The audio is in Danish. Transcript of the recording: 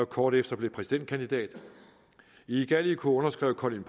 kort efter blev præsidentkandidat i gallico underskrev colin